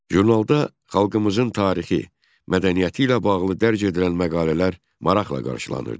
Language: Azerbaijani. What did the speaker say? Jurnalda xalqımızın tarixi, mədəniyyəti ilə bağlı dərc edilən məqalələr maraqla qarşılanırdı.